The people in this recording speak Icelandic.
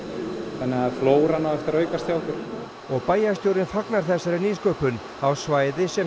þannig að flóran á eftir að aukast hjá okkur og bæjarstjórinn fagnar þessari nýsköpun á svæði sem